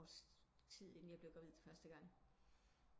Et års tid inden jeg blev gravid første gang